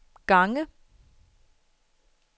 gange